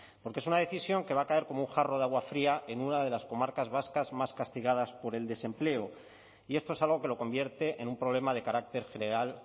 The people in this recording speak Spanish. porque es una decisión que va a caer como un jarro de agua fría en una de las comarcas vascas más castigadas por el desempleo y esto es algo que lo convierte en un problema de carácter general